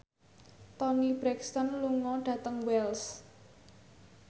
Toni Brexton lunga dhateng Wells